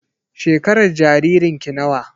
Shekarar jaririn ki nawa?